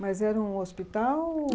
Mas era um hospital?